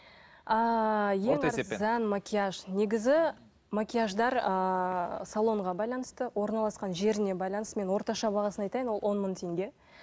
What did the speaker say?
ыыы ең арзан макияж негізі макияждар ыыы салонға байланысты орналасқан жеріне байланысты мен орташа бағасын айтайын ол он мың теңге